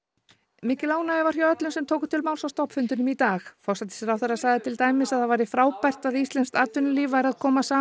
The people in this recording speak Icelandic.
mikil ánægja var hjá öllum sem tóku til máls á stofnfundinum í dag forsætisráðherra sagði til dæmis að það væri frábært að íslenskt atvinnulíf væri að koma saman